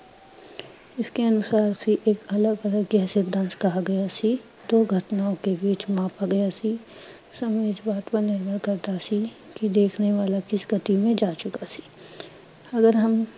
ਇਸਕੇ ਅਨੁਸਾਰ ਫਿਰ ਇਕ ਅਲਗ ਅਲਗ ਕਹਾ ਗਿਆ ਸੀ। ਦੋ ਘਟਨਾਔਂ ਕੇ ਬੀਚ ਮਾਪ ਰਿਹਾ ਸੀ, ਸਭ ਇਸ ਬਾਤ ਪਰ ਨਿਰਭਰ ਕਰਦਾ ਸੀ ਕਿ ਦੇਖਨੇ ਵਾਲਾ ਕਿਸ ਗਤੀ ਮੇਂ ਜਾ ਚੁਕਾ ਸੀ। ਅਗਰ ਹਮ